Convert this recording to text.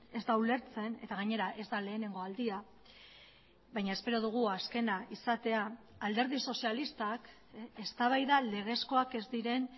ez da ulertzen eta gainera ez da lehenengo aldia baina espero dugu azkena izatea alderdi sozialistak eztabaida legezkoak ez diren